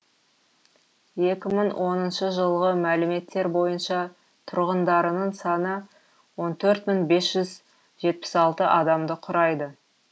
екі мың оныншы жылғы мәліметтер бойынша тұрғындарының саны он төрт мың бес жүз жетпіс алты адамды құрайды